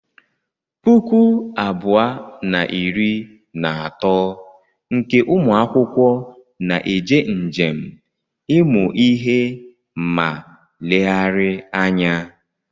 Puku abụọ na iri na atọ nke ụmụakwụkwọ na-eje njem ịmụ ihe ma leghari anya.